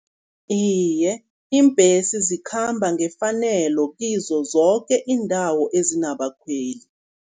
Iye, iimbhesi zikhamba ngefanelo kizo zoke iindawo ezinabakhweli.